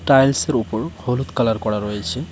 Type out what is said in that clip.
টাইলসের উপর হলুদ কালার করা রয়েছে।